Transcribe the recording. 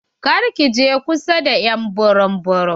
Kar ki je kusa da ƴ'an burum burum.